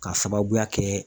K'a sababuya kɛ